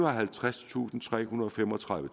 og halvtredstusindtrehundrede og femogtredive